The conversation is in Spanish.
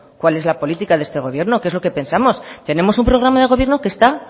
cuál es la política de este gobierno qué es lo que pensamos tenemos un programa de gobierno que está